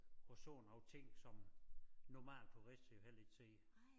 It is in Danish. Og så nogle ting som normale turister jo heller ikke ser